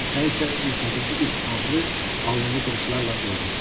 Nə isə ürpədici bir ağrı alnını qırışlarla doldurdu.